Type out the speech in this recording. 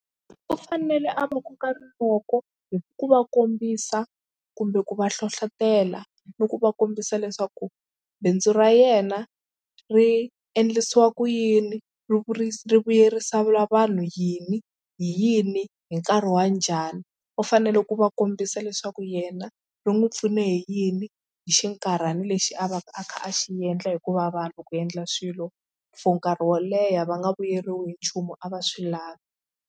U fanele a va koka rinoko hi ku va kombisa kumbe ku va hlohlotela ni ku va kombisa leswaku bindzu ra yena ri endlisiwa ku yini ri vuyerisa vanhu yini hi yini hi nkarhi wa njhani. U fanele ku va kombisa leswaku yena ri n'wi pfune hi yini hi xinkarhana lexi a va a kha a xi endla hikuva vanhu loko u endla swilo for nkarhi wo leha va nga vuyeriwi hi nchumu a va swi lavi.